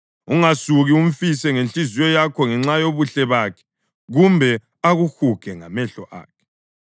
Ungasuki umfise ngenhliziyo yakho ngenxa yobuhle bakhe kumbe akuhuge ngamehlo akhe.